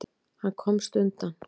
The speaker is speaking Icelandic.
Hann komst undan.